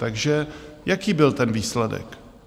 Takže jaký byl ten výsledek?